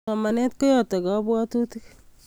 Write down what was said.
Somanet koyate kapwatutik